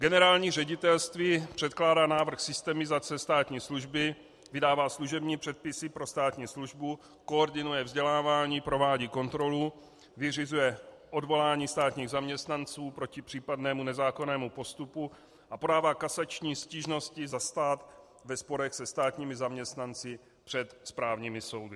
Generální ředitelství předkládá návrh systemizace státní služby, vydává služební předpisy pro státní službu, koordinuje vzdělávání, provádí kontrolu, vyřizuje odvolání státních zaměstnanců proti případnému nezákonnému postupu a podává kasační stížnosti za stát ve sporech se státními zaměstnanci před správními soudy.